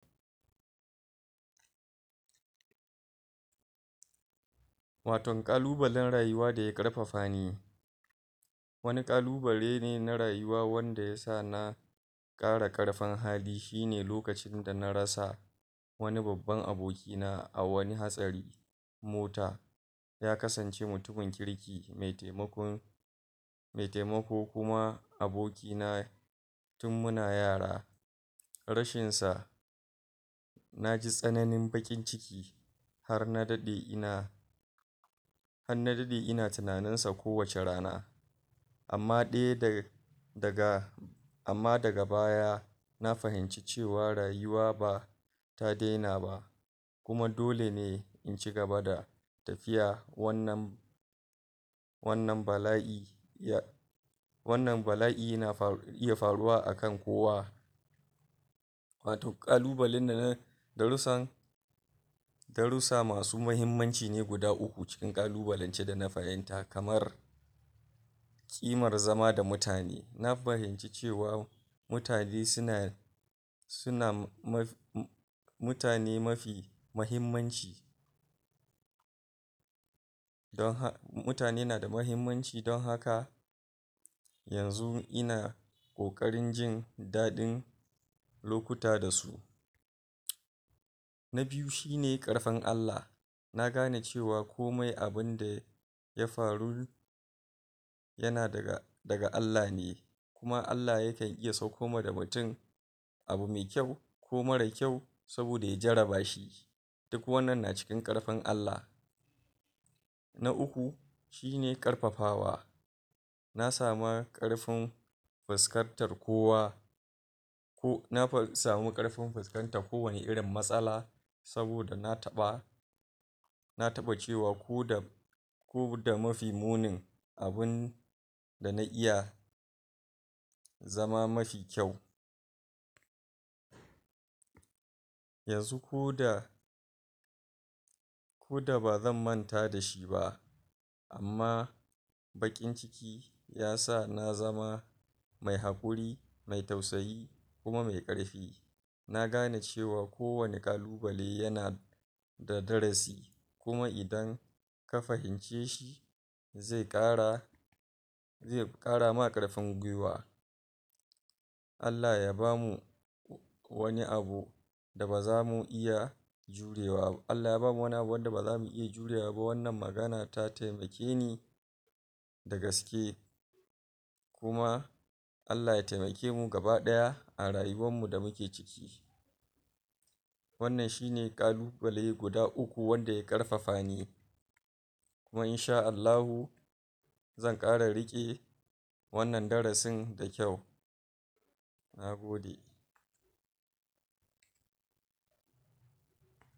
Watan ƙalubalen rayuwa daya ƙarfafa ni wani ƙalubale ne na rayuwa wanda yasa na ƙara ƙarfin hali shi ne lokacin da na rasa wani babban aboki na a wani hatsari mota ya kasance mutumin kirki mai taimakon mai taimako kuma aboki na tun muna yara rashin sa naji tsananin baƙin ciki har na daɗe ina har na daɗe ina tunanin sa kowacce rana amma dai da daga amma daga baya na fahinci cewa rayuwa ba ta daina ba kuma dole ne in cigaba da tafiya wannan wannan bala'i ya wannan bala'i na iya faruwa akan kowa wato ƙalubale ne na darussan darusa masu mahimmanci ne guda uku cikin ƙalubalance dana fahimta kamar ƙimar zama da mutane, na fahimci cewa mutane suna suna matsi mutane mafi mahimmanci mutane na da mahimmanci don haka yanzu ina ƙoƙarin jin daɗin lokuta da su na biyu, shine ƙarfin Allah na gane cewa komai abinda ya faru yana daga Allah ne kuma Allah yakan iya sakko ma da mutun abu mai kyau ko mara kyau saboda ya jarraba shi duk wannan na cikin ƙarfin Allah na uku, shi ne ƙarfafawa na sama ƙarfin fuskantar kowa ko na samu ƙarfin fuskantar kowanne irin matsala saboda na taɓa na taɓa cewa koda koda mafi munin abin da na iya zama mafi kyau yanzu ko da koda ba zan manta da shi ba amma baƙin shi yasa na zama mai haƙuri, mai tausayi, kuma mai ƙarfi na gane cewa kowani ƙalubale yana da darasi kuma idan ka fahimce shi ze ƙara zai fi ƙara ma ƙarfin guiwa Allah ya bamu wani abu da ba zamu iya godewa ba, Allah ya bamu wani abu wanda ba zamu iya jurewa ba wannna magana ta taimake ni da gaske kuma Allah ya taimake mu gabaɗaya a rayuwan mu da muke ciki wannan shi ne ƙalubale guda uku wanda ya ƙarfafa ni kuma insha'allahu zan ƙara riƙe wannan darasin da kyau na gode.